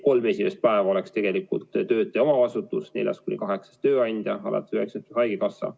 Kolm esimest päeva oleks tegelikult töötaja omavastutus, neljas kuni kaheksas päev tööandja hüvitada, alates üheksandast päevast hüvitaks haigekassa.